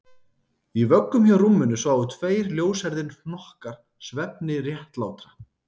Í vöggum hjá rúminu sváfu tveir ljóshærðir hnokkar svefni réttlátra